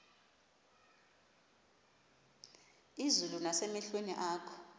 izulu nasemehlweni akho